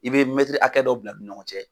I bɛ mɛtiri hakɛ dɔ bila u ni ɲɔgɔn cɛ.